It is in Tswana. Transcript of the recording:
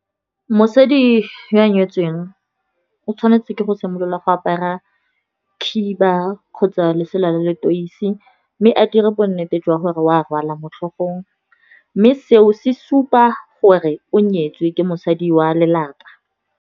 Mosadi yo o nyetsweng, o tshwanetse ke go simolola go apara khiba, kgotsa lesela la le toisi. Mme a dire bonnete jwa gore o a rwala mo tlhogong, mme seo se supa gore o nyetswe ke mosadi wa lelapa.